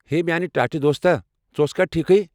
ہے میٚانہِ ٹاٹھہِ دوستا، ژٕ اوسكھا ٹھیكھٕیہ ؟